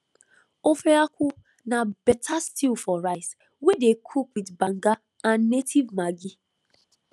ofe akwu na better stew for rice wey dey cook with banga and native maggi